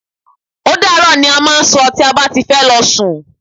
Ódàárọ̀! ni a máà ń sọ tí a bá ti fẹ́ lọ sún.